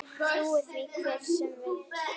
Trúi því hver sem vill.